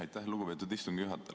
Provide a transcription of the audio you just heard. Aitäh, lugupeetud istungi juhataja!